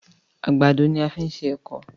àgbàdo ní a fí ṣe ẹkọ.